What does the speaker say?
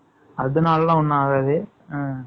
அதனால எல்லாம், ஒண்ணும் ஆகாது.